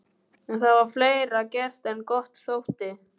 En það var fleira gert en gott þótti.